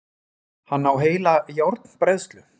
Hann á heila járnbræðslu!